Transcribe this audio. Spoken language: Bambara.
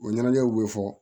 O ɲɛnajɛw bɛ fɔ